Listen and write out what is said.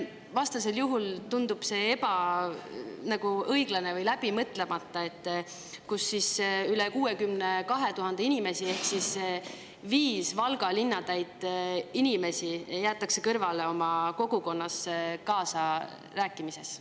Vastasel juhul tundub see ebaõiglane või läbimõtlemata, kui üle 62 000 inimese ehk viis Valga linna täit inimest jäetakse kõrvale oma kogukonna elus kaasarääkimisest.